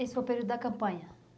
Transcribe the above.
Esse foi o período da campanha?